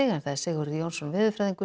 Sigurður Jónsson veðurfræðingur